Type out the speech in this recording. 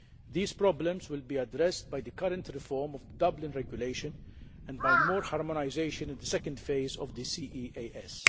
These problems will be addressed by the current reform of the Dublin Regulation and by more harmonisation in the second phase of the CEAS.